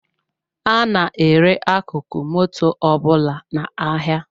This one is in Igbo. A na-ere akụkụ moto ọbụla n’ahịa